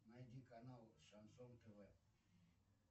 найди канал шансон тв